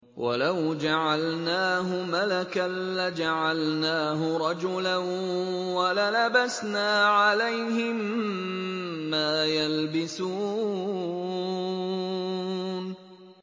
وَلَوْ جَعَلْنَاهُ مَلَكًا لَّجَعَلْنَاهُ رَجُلًا وَلَلَبَسْنَا عَلَيْهِم مَّا يَلْبِسُونَ